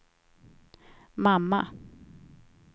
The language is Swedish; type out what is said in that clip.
mamma